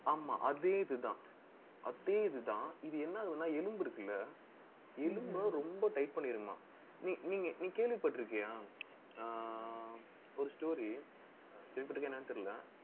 ஆமா அதே இதுதான். அதே இதுதான். இது என்ன ஆகும்ன்னா எலும்பு இருக்குல்ல எலும்பை ரொம்ப tight பண்ணிரணும். நீங்க நீ கேள்விப்பட்டிருக்கியா ஆஹ் ஒரு story கேட்டுருக்கிய என்னன்னு தெரியலே